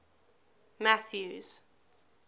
mathews